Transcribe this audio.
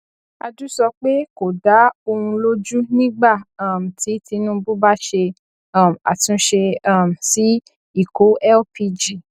adu sọ pé kò dá òun lójú nígbà um tí tinubu bá ṣe um àtúnṣe um sí ikó lpg